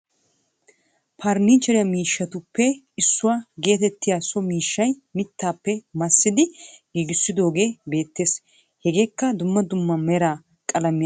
Farnnicheere mishshatuppe issuwa geetettiya so mishshay mittappe massidi giggissidogee beettees hegeekka dumma dumma meraa qalamiya loyttidi tiyidogee eeqqi uttidagee beettees